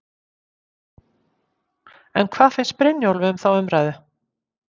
En hvað finnst Brynjólfi um þá umræðu?